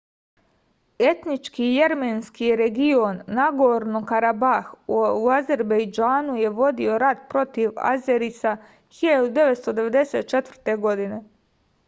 etnički jermenski region nagorno-karabah u azerbejdžanu je vodio je rat protiv azerisa 1994. godine